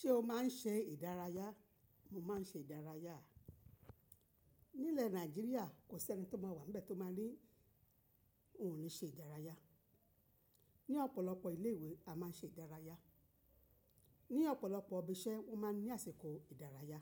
Ṣé o máa ń ṣe ìdárayá? Mo máa ń ṣe ìdárayá. Nílẹ̀ Nàìjíríà kò sí ẹni tó máa wà níbẹ̀ tó máa ní òun ò ní ṣe ìdárayá. Ni ọ̀pọ̀lọpọ̀ ilé ìwé a máa ń ṣe ìdárayá. Ni ọ̀pọ̀lọpọ̀ ibi iṣẹ́ wọ́n máa ń ní àsìkò ìdárayá.